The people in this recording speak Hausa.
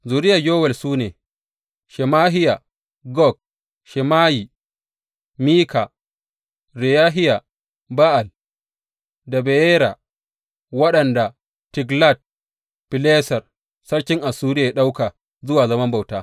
Zuriyar Yowel su ne, Shemahiya, Gog, Shimeyi, Mika, Reyahiya, Ba’al, da Beyera, wanda Tiglat Fileser sarkin Assuriya ya ɗauka zuwa zaman bauta.